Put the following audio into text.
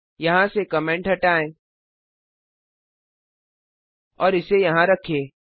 यहाँ से कमेंट हटाएं और इसे यहाँ रखें